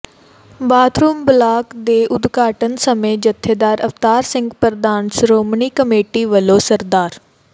bathroom block ਦੇ ਉਦਘਾਟਨ ਸਮੇਂ ਜਥੇਦਾਰ ਅਵਤਾਰ ਸਿੰਘ ਪ੍ਰਧਾਨ ਸ਼ੋ੍ਰਮਣੀ ਕਮੇਟੀ ਵੱਲੋਂ ਸ